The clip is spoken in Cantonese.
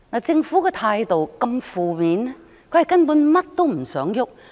政府的態度如此負面，根本是甚麼也不想做。